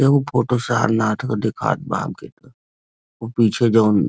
एगो फोटो सारनाथ के दिखात बा हमके त उ पीछे जउन --